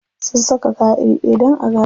Sun saka kaya iri ɗaya dan a gane su.